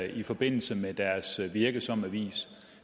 i forbindelse med deres virke som avis